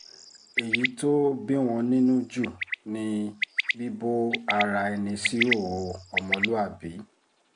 eyi to bi won ninu ju ni bibo ara eni si ihoho omoluabi